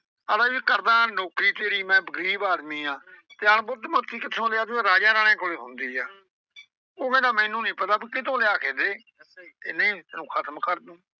ਆਂਹਦਾ ਮੈਂ ਕਰਦਾ ਨੌਕਰੀ ਤੇਰੀ ਮੈਂ ਗਰੀਬ ਆਦਮੀ ਆਂ। ਤੇ ਅਣ ਬੁੱਧ ਮੋਤੀ ਕਿੱਥੋਂ ਲਿਆਦੂੰ ਇਹ ਰਾਜਾ ਰਾਣੇ ਕੋਲ ਹੁੰਦੀ ਆ ਉਹ ਆਂਹਦਾ ਮੈਨੂੰ ਬਈ ਕਿਤੋਂ ਲਿਆ ਕੇ ਦੇ। ਨਈਂ ਅਹ ਖ਼ਤਮ ਕਰ ਤੂੰ।